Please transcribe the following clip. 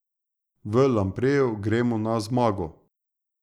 V Lampreju gremo na zmago.